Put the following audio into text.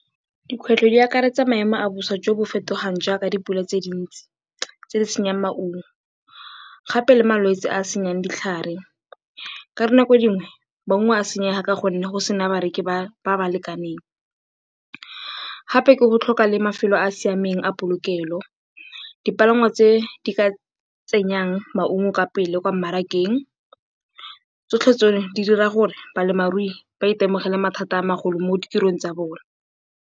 Dikgwetlho di akaretsa maemo a bosa jo bo fetogang jaaka dipula tse dintsi tse di senyang maungo gape le malwetse a a senyang ditlhare. Ka dinako dingwe, maungo a a senyega ka gonne go sena babereki ba ba lekaneng, gape ke go tlhoka le mafelo a a siameng a polokelo, dipalangwa tse di ka tsenyang maungo ka pele kwa mmarakeng. Tsotlhe tseno di dira gore balemirui ba itemogele mathata a a magolo mo ditirong tsa bona.